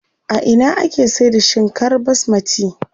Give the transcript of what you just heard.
A ina ake saida shinkar basmati?